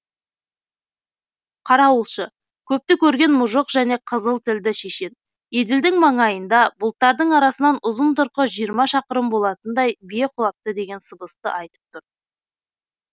қарауылшы көпті көрген мұжық және қызыл тілді шешен еділдің маңайында бұлттардың арасынан ұзын тұрқы жиырма шақырым болатындай бие құлапты деген сыбысты айтып тұр